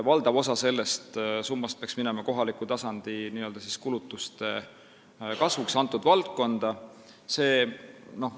Valdav osa sellest summast peaks minema kohaliku tasandi kulutuste kasvuks selles valdkonnas.